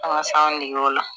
An ka s'an dege o la